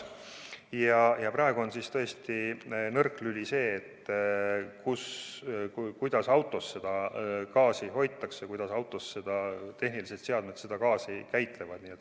Ja praegu on tõesti nõrk lüli see, kuidas autos seda gaasi hoitakse, kuidas autos tehnilised seadmed seda gaasi käitlevad.